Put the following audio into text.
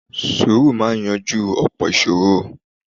Sùúrù máa yanjú ọ̀pọ̀ ìṣòro.